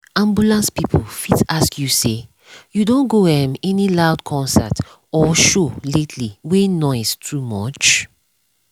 ambulance people fit ask you say “you don go um any loud concert or show lately wey noise too much?”